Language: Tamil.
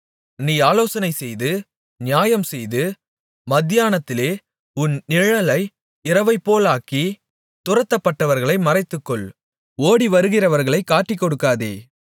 நீ ஆலோசனைசெய்து நியாயம் செய்து மத்தியானத்திலே உன் நிழலை இரவைப்போலாக்கி துரத்தப்பட்டவர்களை மறைத்துக்கொள் ஓடிவருகிறவர்களைக் காட்டிக்கொடுக்காதே